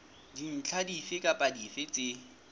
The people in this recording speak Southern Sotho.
dintlha dife kapa dife tse